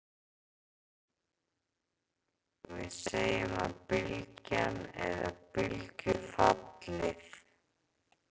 við segjum að bylgjan eða bylgjufallið